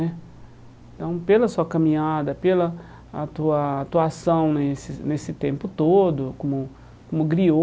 Então, pela sua caminhada, pela a tua tua atuação nesse nesse tempo todo, como como griô